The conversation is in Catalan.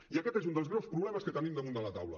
i aquest és un dels greus problemes que tenim damunt de la taula